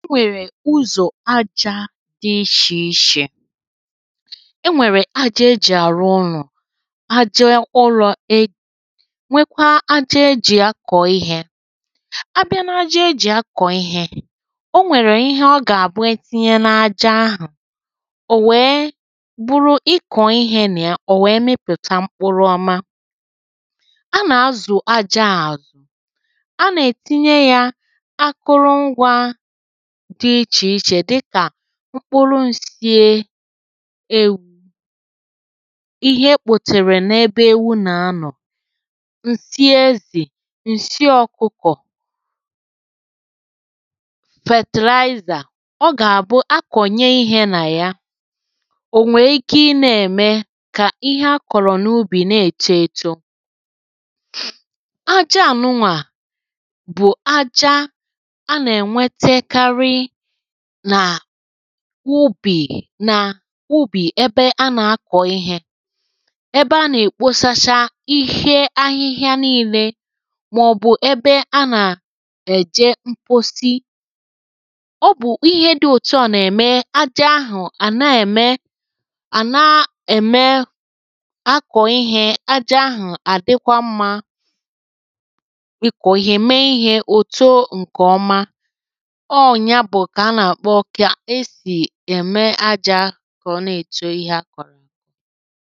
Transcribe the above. e nwèrè uzȯ ajȧ dị ichè ichè e nwèrè aja ejì àrụ ụlọ̀ aja ụlọ̇ e nwekwaa aja e jì akọ̀ ihė a bịa n’ aja e jì akọ̀ ihė ọ nwèrè ihe ọ gà-àbụ etinye n’ aja ahụ̀ ò wèe bụrụ ikọ̀ ihė na ya ọ̀ wèe mịpụ̀ta mkpụrụ ọma a nà-azụ̀ aja àzụ a nà-ètinye yȧ akụrụ ngwa dị ichè ichè dịkà mkpụrụ ǹsie ewu̇ ihe kpòtèrè n’ebe ewu nà anọ̀ ǹsie ezì ǹsie ọ̀kụkọ̀ fertilizer, ọ gà-àbụ akọ̀nye ihe nà ya ò nwee ike ị na-ème kà ihe a kọ̀rọ̀ n’ubì na-èche ėtȯ aja ànụnwà bụ̀ aja ubì nà ubì ebe a nà-akọ̀ ihė ebe a nà-èkposacha ihe ahịhịa niilė màọ̀bụ̀ ebe a nà-èje mposi ọ bụ̀ ihe dị̇ òtu à nà-ème ajọ̇ ahụ̀ à na-ème à na-ème akọ̀ ihė ajọ̇ ahụ̀ àdịkwa mmȧ ị kọ̀rọ̀ ihe mee ihė òto ǹkè ọma ème ajȧ kà ọ na-èto ihė a kọ̀rọ̀